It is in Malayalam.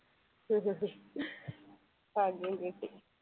ഭാഗ്യം കിട്ടി.